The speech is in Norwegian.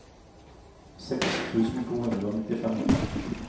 seks tusen to hundre og nittifem